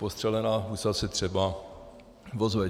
Postřelená husa se třeba ozve.